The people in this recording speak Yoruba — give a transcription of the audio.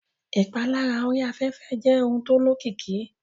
Ìpalára orí afẹ́fẹ́ jẹ́ ohun tó lókìkí